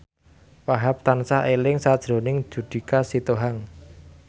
Wahhab tansah eling sakjroning Judika Sitohang